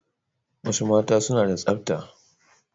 Wasu mata suna da tsabta